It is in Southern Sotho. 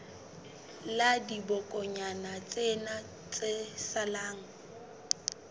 la dibokonyana tsena tse salang